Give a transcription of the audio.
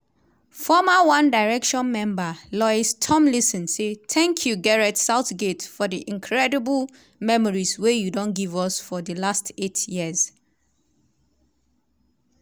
former one direction member lois tomlinson say "thank you gareth southgate for di incredible memories wey you don give us for di last eight years.